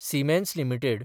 Siemens limited